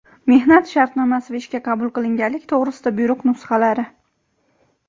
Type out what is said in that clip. mehnat shartnomasi va ishga qabul qilinganlik to‘g‘risida buyruq nusxalari;.